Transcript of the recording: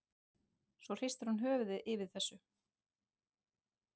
Svo hristir hún höfuðið yfir þessu.